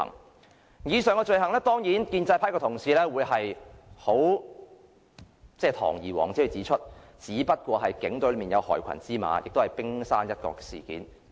就以上罪行，當然建制派的同事會堂而皇之地說只是警隊內有害群之馬，只是冰山一角。